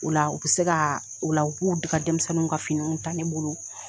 O la u bɛ se ka o la u b'u ka denmisɛnnin ka finiw tan ne bolo.